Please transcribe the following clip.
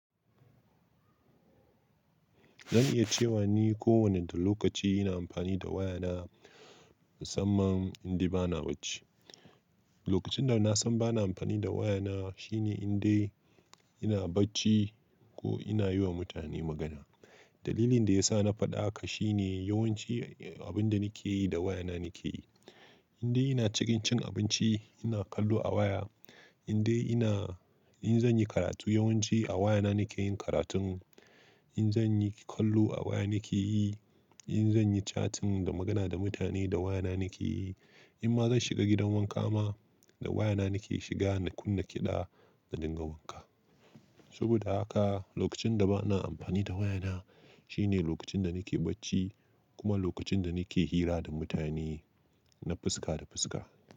Zan iya cewa ni kowane lokaci ina amfani da waya na, musamman inde bana bacci. Lokacin da na san bana amfani da waya na shine indai ina bacci ko ina yiwa mutane magana. Dalilin da ya sa na faɗa haka shine yawanci abin da nake yi da waya na nake yi. Indai ina cikin cin abinci, ina kallo a waya. Indai ina, in zan yi karatu yawanci a waya na nake yin karatun, in zan yi kallo a waya nake yi, in zan yi chatting da magana da mutane da waya na nake yi. In ma zan shiga gidan wanka ma, da waya na nake shiga na kunna kiɗa na dinga wanka. Saboda haka lokacin da bana amfani da waya na shine lokacin da nake bacci kuma lokacin da nake hira da mutane na fuska da fuska.